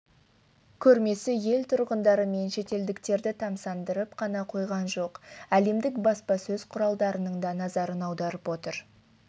көрмесі ел тұрғындары мен шетелдіктерді тамсандырып қана қойған жоқ әлемдік баспасөз құралдарының да назарын аударып отыр